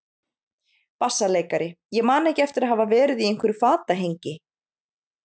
BASSALEIKARI: Ég man ekki eftir að hafa verið í einhverju fatahengi.